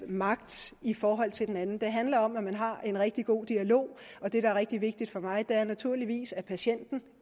magt i forhold til hinanden det handler om at man har en rigtig god dialog og det der er rigtig vigtigt for mig er naturligvis at patienten